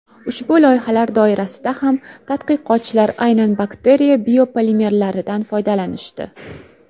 Ushbu loyihalar doirasida ham tadqiqotchilar aynan bakteriya biopolimerlaridan foydalanishdi.